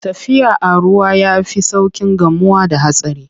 Tafiya a ruwa ya fi sauƙin gamuwa da hatsari.